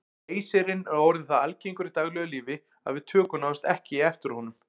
Leysirinn er orðinn það algengur í daglegu lífi að við tökum nánast ekki eftir honum.